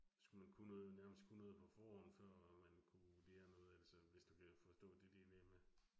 Skulle man kunne noget nærmest kunne noget på forhånd før man kunne lære noget, altså hvis du kan forstå det dilemma